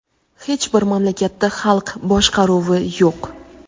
Hech bir mamlakatda xalq boshqaruvi yo‘q.